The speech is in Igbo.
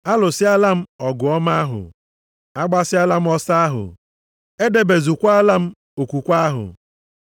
Alụsịala m ọgụ ọma ahụ, agbasịala m ọsọ ahụ, edebezuokwala m okwukwe ahụ.